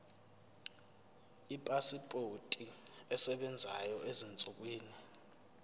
ipasipoti esebenzayo ezinsukwini